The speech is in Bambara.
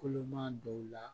Koloman dɔw la